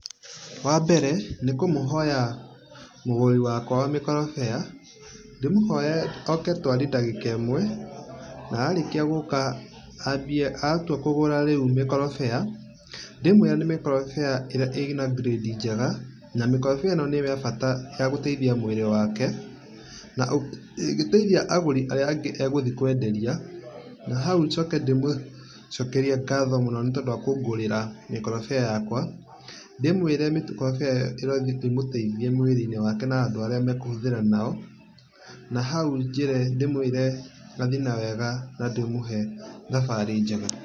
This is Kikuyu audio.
Wambere nĩ kũmũhoya mũgũri wakwa wa mĩkorobia ndĩmũhoye oke twarie ndagĩka ĩmwe na arĩkia gũka ambie atũa kũgũra rĩu mĩkorobia ndĩmwere nĩ mĩkorobia ĩna ngirĩndi njĩga, na mĩkorobia ĩno nĩya bata gũtĩithia mwĩrĩ wake, na ĩngĩtĩithia agũri arĩa angĩ agũthi kwenderia. Nahaũ njoke ndĩmũcokĩria ngatho mũno nĩtondũ wakũngũrĩra mĩkoroboa yakwa. Ndĩmwere mĩkorobia ĩyũ ĩrothi ĩmũteithiĩ mwĩrĩ-inĩ wake na andũ makũhũthĩra nao, nahaũ njĩre ndĩmwere athiĩ na wega na ndĩmũhe thabarĩ njega.